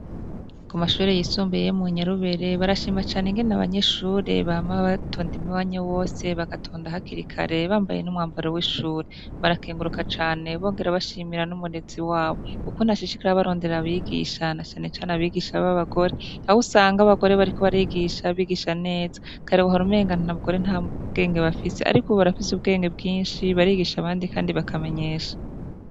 Ku mashubure yisumbuyeyo mu nyarubere barashima cane ingene abanyeshure bama bato ndimiwanya wose bagatonda hakirikare bambaye n'umwambaro w'ishure barakenguruka cane bongera bashimira n'umurezi wabo uko na shishikara barondera abigisha na canecane abigisha b'abagore abo usanga abagore bariko barigisha bigisha neza karewu hore ngana na bugore nta muuwenge bafise, ariko ubo barafise ubwenge bwinshi barigisha abandi, kandi bakamenyesha.